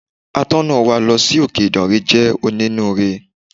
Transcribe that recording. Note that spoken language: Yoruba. Atọ́nà wa lọ sí òkè Ìdànrè jẹ́ onínú ire.